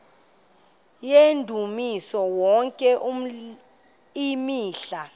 yendumiso yonke imihla